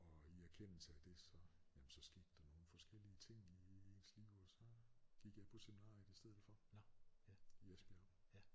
Og i erkendelse af det så jamen så skete der nogle forskellige ting i ens liv og så gik jeg på seminariet i stedet for i Esbjerg